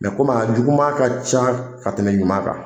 komi a juguman ka ca ka tɛmɛ ɲuman kan